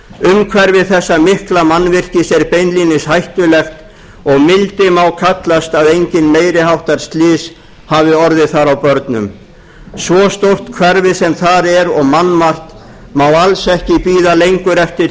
umhverfi þessa mikla mannvirkis er beinlínis hættulegt og mildi má kallast að engin meiri háttar slys hafi orðið þar á börnum svo stórt hverfi sem þar er og mannmargt má alls ekki bíða lengur eftir